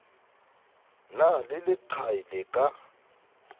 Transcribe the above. na le leqai le ka